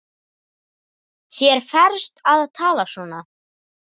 Þér ferst að tala svona!